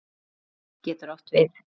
Stig getur átt við